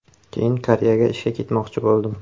Keyin Koreyaga ishga ketmoqchi bo‘ldim.